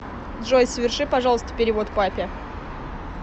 джой соверши пожалуйста перевод папе